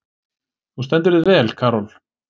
Þú stendur þig vel, Karol!